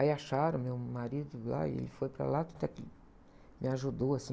Aí acharam meu marido lá e ele foi para lá, até que me ajudou, assim.